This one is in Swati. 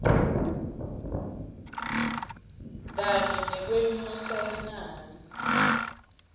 kanye nekwenyusa linani